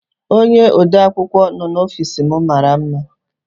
Onye odeakwụkwọ nọ n'ofiis m mara mma.